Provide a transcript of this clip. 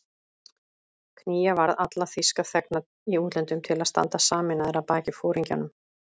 Knýja varð alla þýska þegna í útlöndum til að standa sameinaðir að baki foringjanum